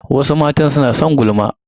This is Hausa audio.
Wasu matan suna son gulma.